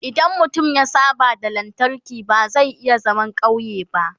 idan mutum ya saba da lantarki ba zai iya zaman ƙauye ba